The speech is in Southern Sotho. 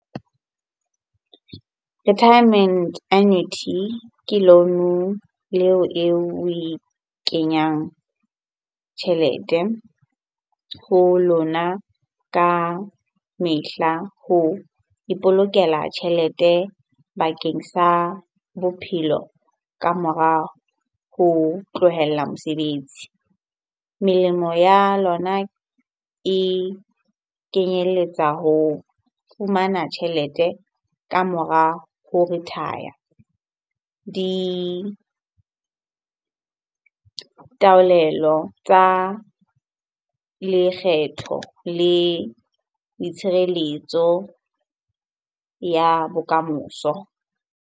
Retirement annuity ke loan-o oe kenyang tjhelete ho lona ka mehla ho ipolokela tjhelete bakeng sa bophelo ka mora ho tlohela mosebetsi. Melemo ya lona e kenyelletsa ho fumana tjhelete ka mora ho retire. Ditaolelo tsa lekgetho le ditshireletso ya bokamoso.